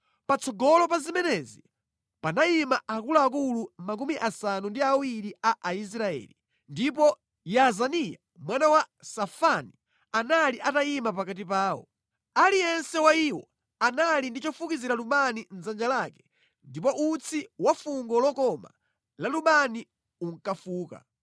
Patsogolo pa zimenezi panayima akuluakulu makumi asanu ndi awiri a Aisraeli, ndipo Yaazaniya mwana wa Safani anali atayima pakati pawo. Aliyense wa iwo anali ndi chofukizira lubani mʼdzanja lake ndipo utsi wa fungo lokoma la lubani unkafuka.